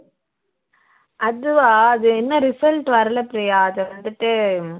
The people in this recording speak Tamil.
அதுவா அது இன்னும் result வரல பிரியா அது வந்துட்டு